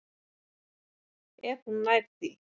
Ef hún nær því.